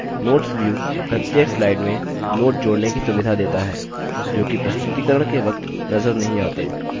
notes view प्रत्येक slide में notes जोड़ने की सुविधा देता है जोकि प्रस्तुतिकरण के वक्त नज़र नहीं the